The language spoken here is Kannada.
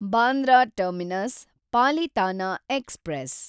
Bandra terminus Palitana express